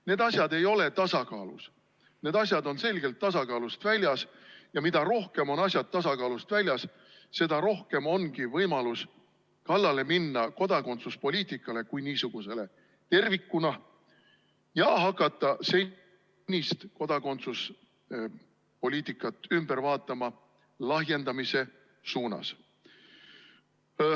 Need asjad ei ole tasakaalus, need asjad on selgelt tasakaalust väljas ja mida rohkem on asjad tasakaalust väljas, seda rohkem ongi võimalust kallale minna kodakondsuspoliitikale kui niisugusele tervikuna ja hakata senist kodakondsuspoliitikat ümber tegema lahjendamise suunas.